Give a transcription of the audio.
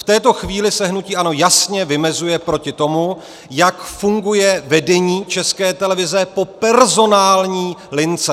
V této chvíli se hnutí ANO jasně vymezuje proti tomu, jak funguje vedení České televize po personální lince.